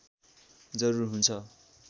जरुरी हुन्छ